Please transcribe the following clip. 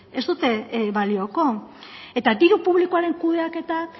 ez dute balioko eta diru publikoaren kudeaketak